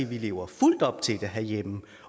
vi lever fuldt op til det herhjemme